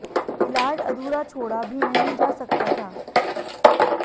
इलाज अधूरा छोड़ा भी नहीं जा सकता था